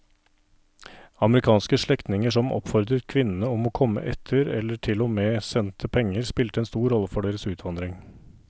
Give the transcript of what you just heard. Amerikanske slektninger som oppfordret kvinnene om å komme etter eller til og med sendte penger spilte en stor rolle for deres utvandring.